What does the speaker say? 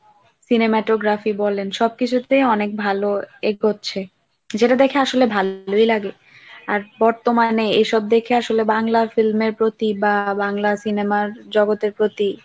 cinematography সবকিছুতেই অনেক ভালো এগোচ্ছে যেটা দেখে আসলে ভালোই লাগে। আর বর্তমানে এসব দেখে আসলে বাংলার film এর প্রতি বা বাংলার cinema র জগতের প্রতি